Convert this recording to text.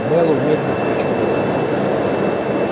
мэллоу медленно покачал головой